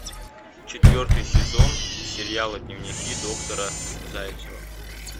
четвертый сезон сериала дневники доктора зайцева